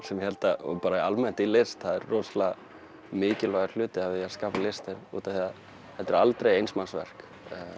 sem ég held að bara almennt í list sé rosalega mikilvægur hluti af því að skapa list út af því að þetta er aldrei eins manns verk